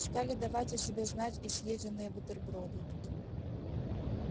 стали давать о себе знать и съеденные бутерброды